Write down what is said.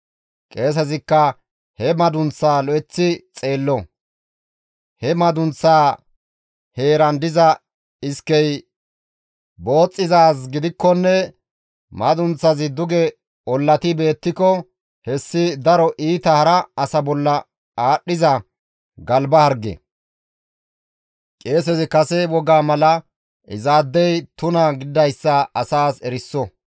Qeesezikka he madunththaa lo7eththi xeello; he madunththaa heeran diza iskey booxxizaaz gidikkonne madunththazi duge ollati beettiko hessi daro iita hara asa bolla aadhdhiza galba harge; qeesezi kase wogaa mala izaadey tuna gididayssa asaas eriso.